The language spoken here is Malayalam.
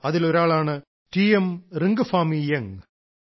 അതിലൊരാളാണ് ടി എം റിംഗഫാമി യംഗ്